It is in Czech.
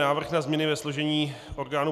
Návrh na změny ve složení orgánů